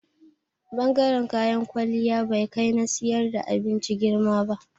Bangaren kayan kwalliya bai kai na siyar da abinci girma ba.